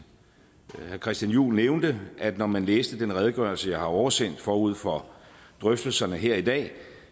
herre christian juhl nævnte at når man læste den redegørelse jeg har oversendt forud for drøftelserne her i dag